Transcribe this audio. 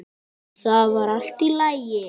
Það var allt í lagi.